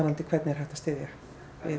við einstaklinginn